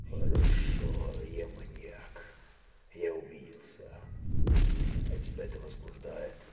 хорошо я маньяк я убийца а тебя это возбуждает